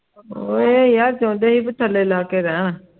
ਉਹ ਹੀ ਇਹ ਚੌਂਦੇ ਸੀ ਬੀ ਥੱਲੇ ਲੱਗ ਕੇ ਰਹਿਣ